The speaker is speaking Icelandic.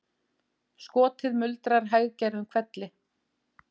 Skotið muldrar hæggerðum hvelli